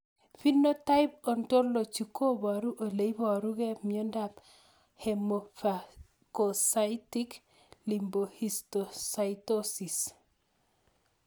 Phenotype ontology koparu ole iparukei miondop Hemophagocytic lymphohistiocytosis